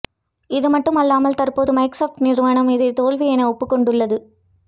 இதுமட்டும் அல்லாமல் தற்போது மைக்சாப்ட் நிறுவனமும் இதை தோல்வி என ஒப்புக்கொண்டுள்ளது